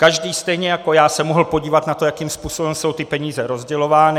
Každý, stejně jako já, se mohl podívat na to, jakým způsobem jsou ty peníze rozdělovány.